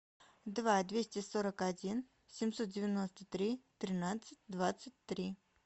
два двести сорок один семьсот девяносто три тринадцать двадцать три